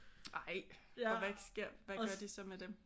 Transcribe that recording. Ej! Og hvad sker hvad gør de så med dem?